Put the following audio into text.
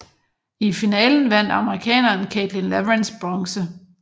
I finalen vandt amerikaneren Caitlin Leverenz bronze